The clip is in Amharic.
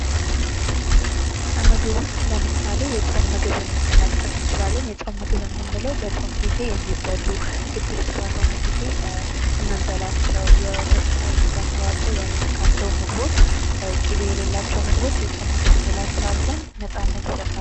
ከምግብ ውስጥ ለምሳሌ የጾም ምግብን ለመጥቀስ እንችላለን የጾም ምግብ የምንለው በጾም ጊዜ የሚበሉ ግድፍት ባልሆነ ጊኤ የምንበላቸው የወተትና የስጋ ተዋጽኦ ያልነካቸው ምግቦች ቂቤ የሌላቸው ምግቦች የጾም ምግብ እንላቸዋለን ነፃነት ይሰጣሉ።